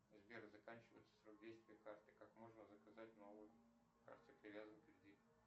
сбер заканчивается срок действия карты как можно заказать новую к карте привязан кредит